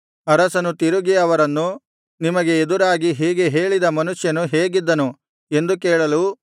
ಅರಸನು ತಿರುಗಿ ಅವರನ್ನು ನಿಮಗೆ ಎದುರಾಗಿ ಹೀಗೆ ಹೇಳಿದ ಮನುಷ್ಯನು ಹೇಗಿದ್ದನು ಎಂದು ಕೇಳಲು